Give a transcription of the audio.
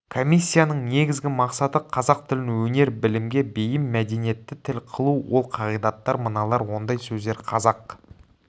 комиссияның негізгі мақсаты қазақ тілін өнер-білімге бейім мәдениетті тіл қылу ол қағидаттар мыналар ондай сөздер қазақ